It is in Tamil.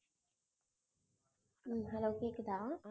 உம் hello கேக்குதா?